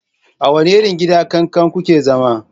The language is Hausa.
A wani irin gida kakan ku ke zama?